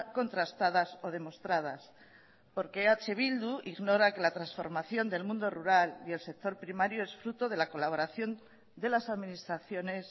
contrastadas o demostradas porque eh bildu ignora que la transformación del mundo rural y el sector primario es fruto de la colaboración de las administraciones